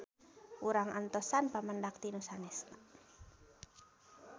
Urang antosan pamendak ti nu sanesna.